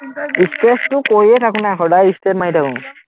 stretch টো কৰিয়ে থাকো না, সদায় straight মাৰিয়ে থাকো